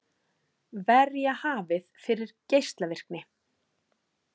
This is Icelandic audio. Verja hafið fyrir geislavirkni